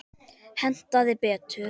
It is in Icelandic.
Hentaði betur.